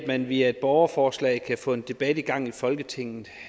man via et borgerforslag kan få en debat i gang i folketinget